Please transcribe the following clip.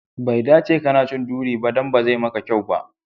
Bai dace kana cin duri ba, dan bazai maka kyau ba.